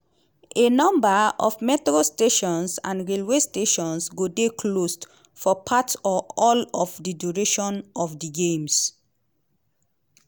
a number of metro stations and railway stations go dey closed for part or all of di duration of di games.